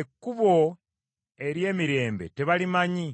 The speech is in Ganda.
Ekkubo ery’emirembe tebalimanyi